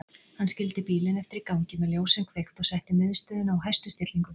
Hann skildi bílinn eftir í gangi með ljósin kveikt og setti miðstöðina á hæstu stillingu.